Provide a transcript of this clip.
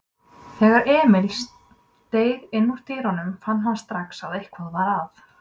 Þegar Emil steig innúr dyrunum fann hann strax að eitthvað var að.